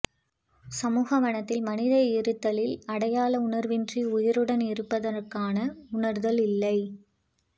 சமூக வனத்தில் மனித இருத்தலில் அடையாள உணர்வின்றி உயிருடன் இருப்பதற்கான உணர்தல் இல்லை